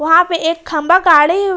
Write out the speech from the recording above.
वहां पर एक खंभा गाड़ी हुई--